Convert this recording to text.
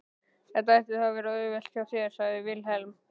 Þetta ætti þá að vera auðvelt hjá þér, sagði Vilhelm.